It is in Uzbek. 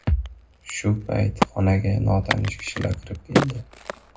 Shu payt xonaga notanish kishilar kirib keldi.